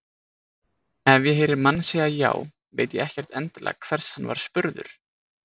Ef ég heyri mann segja já veit ég ekkert endilega hvers hann var spurður.